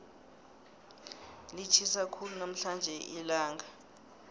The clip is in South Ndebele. litjhisa khulu namhlanje ilanga